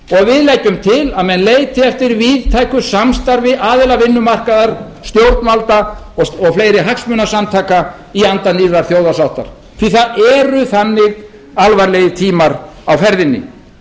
og við leggjum til að menn leiti eftir víðtæku samstarfi aðila vinnumarkaðar stjórnvalda og fleiri hagsmunasamtaka í anda nýrrar þjóðarsáttar því það eru þannig alvarlegir tímar á ferðinni